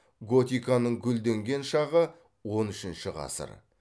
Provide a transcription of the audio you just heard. готиканың гүлденген шағы он үшінші ғасыр